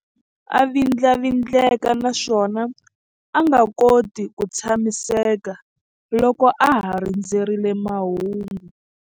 A vindlavindleka naswona a nga koti ku tshamiseka loko a ha rindzerile mahungu.